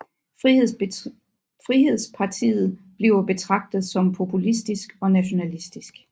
Frihedspartiet bliver betragtet som populistisk og nationalistisk